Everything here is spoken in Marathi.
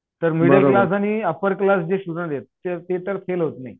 तर मिडल क्लास आणि अप्पर क्लास जे स्टुडन्ट आहेत. ते तर फेल होत नाही.